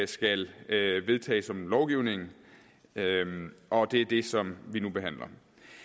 skal vedtage som lovgivning og det er det som vi nu behandler